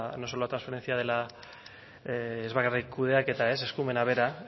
no solo la transferencia de la ez bakarrik kudeaketa eskumena bera